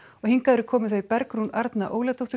hingað eru komin þau Bergrún Arna Óladóttir